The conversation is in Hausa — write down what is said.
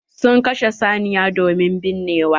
Sun kashe saniya domin binnewa.